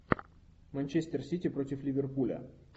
манчестер сити против ливерпуля